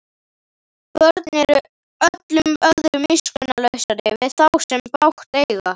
Börn eru öllum öðrum miskunnarlausari við þá sem bágt eiga.